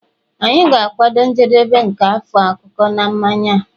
anyị ga-akwado njedebe nke afọ a akụkụ na mmanya a